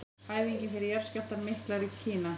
Æfingar fyrir jarðskjálftann mikla í Kína.